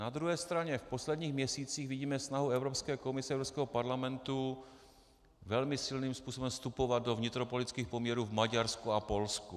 Na druhé straně v posledních měsících vidíme snahu Evropské komise, Evropského parlamentu velmi silným způsobem vstupovat do vnitropolitických poměrů v Maďarsku a Polsku.